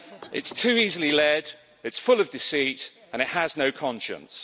It's too easily led, it's full of deceit and it has no conscience.